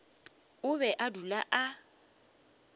o be a dula a